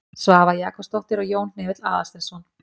Svava Jakobsdóttir og Jón Hnefill Aðalsteinsson.